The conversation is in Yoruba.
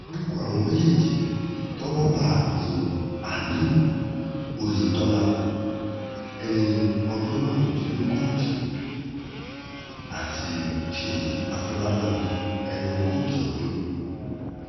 orúkọ àwọn méjèèjì tọ́wọ́ bá ní aliu oyetola ẹni ọdún márùndínlógójì àti ṣéyí àfọlábábí ẹni ogójì ọdún